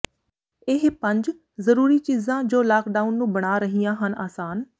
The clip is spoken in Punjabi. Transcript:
ਇਹ ਪੰਜ ਜ਼ਰੂਰੀ ਚੀਜ਼ਾਂ ਜੋ ਲਾਕਡਾਊਨ ਨੂੰ ਬਣਾ ਰਹੀਆਂ ਹਨ ਆਸਾਨ